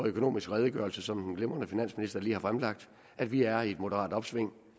økonomiske redegørelse som den glimrende finansminister lige har fremlagt at vi er i et moderat opsving